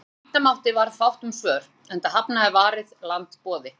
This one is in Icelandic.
Eins og vænta mátti varð fátt um svör, enda hafnaði Varið land boði